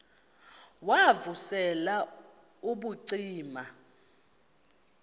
wav usel ubucima